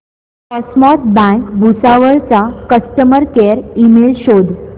cosmos bank Bhusawal चा customer care email शोध